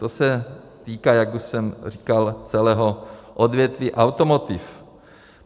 To se týká, jak už jsem říkal, celého odvětví automotiv.